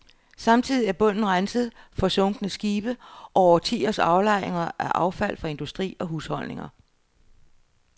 Samtidig er bunden renset for sunkne skibe og årtiers aflejringer af affald fra industri og husholdninger